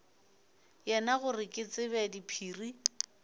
yena gore ke tsebe diphiri